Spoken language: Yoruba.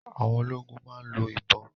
Àwọn ológun máa ń lo ìbọn